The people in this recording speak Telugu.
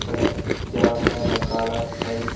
ఇక్కడ చాల రకాల టైల్స్ .